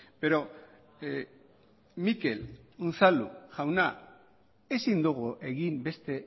pero mikel unzalu jauna ezin dugu egin beste